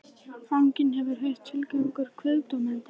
Fanginn hefur nú heyrt tillögur kviðdómenda.